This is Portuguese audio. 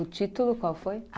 O título qual foi?